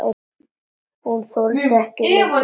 Hún þoldi ekki lengur við.